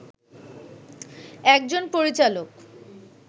একজন পরিচালক